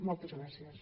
moltes gràcies